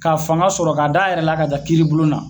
Ka fanga sɔrɔ ka da a yɛrɛla ka taa kiiri bulon na